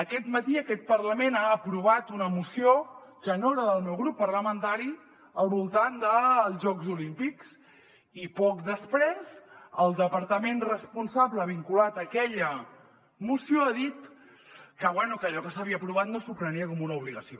aquest matí aquest parlament ha aprovat una moció que no era del meu grup parlamentari al voltant dels jocs olímpics i poc després el departament responsable vinculat a aquella moció ha dit que bé allò que s’havia aprovat no s’ho prenia com una obligació